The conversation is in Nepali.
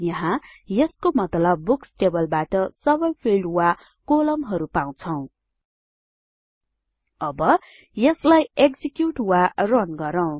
यहाँ यसको मतलब बुक्स टेबलबाट सबै फिल्ड वा कोलमहरु पाउछौं अब यसलाई एक्जिक्युट वा रन गरौँ